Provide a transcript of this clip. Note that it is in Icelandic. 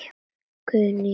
Guðný Unnur.